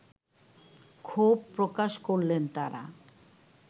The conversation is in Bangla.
ক্ষোভ প্রকাশ করলেন তারা